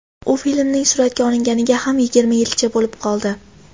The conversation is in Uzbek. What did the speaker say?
U filmning suratga olinganiga ham yigirma yilcha bo‘lib qoldi.